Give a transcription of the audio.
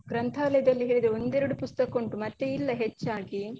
ಗ್ರಂಥಾಲಯದಲ್ಲಿ ಹೇಗೆ ಒಂದೆರಡು ಪುಸ್ತಕ ಉಂಟು ಮತ್ತೆ ಇಲ್ಲ ಹೆಚ್ಚಾಗಿ.